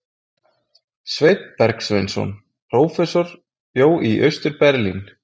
Sveinn Bergsveinsson prófessor bjó í Austur-Berlín.